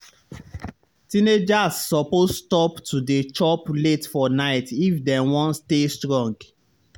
teenagers suppose stop to dey chop late for night if dem wan stay strong.